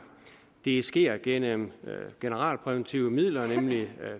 det sker gennem generalpræventive midler nemlig